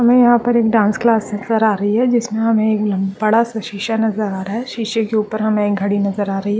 हमे यहाँ पर एक डांस क्लास नजर आ रही है जिसमे हमे एक बड़ा सा शीशा नजर आ रहा है शीशे के ऊपर हमें घड़ी नजर आ रही है।